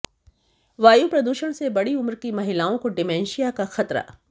वायु प्रदूषण से बड़ी उम्र की महिलाओं को डिमेंशिया का खतरा